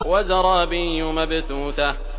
وَزَرَابِيُّ مَبْثُوثَةٌ